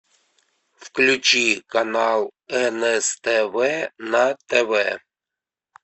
включи канал нств на тв